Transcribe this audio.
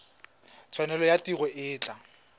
tshwanelo ya tiro e tla